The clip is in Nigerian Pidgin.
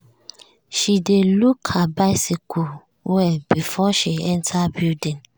she dey lock her bicycle well before she enter building.